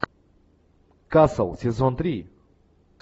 касл сезон три